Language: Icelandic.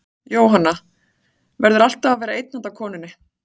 Jóhanna: Verður alltaf að vera einn handa konunni?